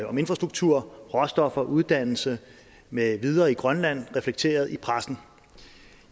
om infrastruktur råstoffer uddannelse med videre i grønland reflekteret i pressen